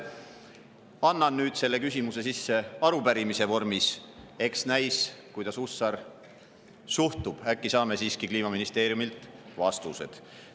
Annan nüüd selle küsimuse sisse arupärimise vormis – eks näis, kuidas Hussar suhtub, äkki saame siiski Kliimaministeeriumilt vastused.